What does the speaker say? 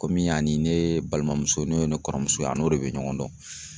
Komi a ni ne balimamuso n'o ye ne kɔrɔmuso ye ,a n'o de be ɲɔgɔn dɔn.